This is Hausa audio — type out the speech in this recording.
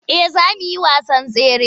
Eh za mu yi wasan tsare.